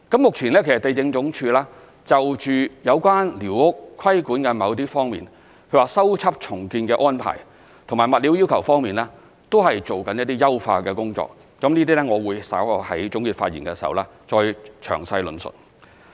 目前，地政總署就有關寮屋規管的某些方面，例如修葺重建的安排，以及物料要求方面，都正進行一些優化的工作，這些我會稍後在總結發言時再詳細論述。